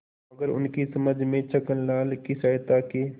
मगर उनकी समझ में छक्कनलाल की सहायता के